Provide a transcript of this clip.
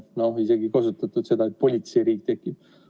On isegi kasutatud väljendit, et politseiriik tekib.